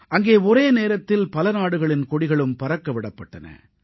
அங்கே ஒரே நேரத்தில் பல நாடுகளின் கொடிகளும் பறக்க விடப்பட்டன